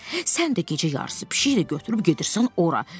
Sən də gecə yarısı pişiklə götürüb gedirsən ora.